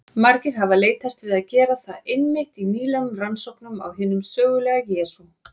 Margir hafa leitast við að gera það einmitt í nýlegum rannsóknum á hinum sögulega Jesú.